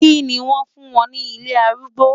Kí ni wàá fún wọn ní ilé arúgbó?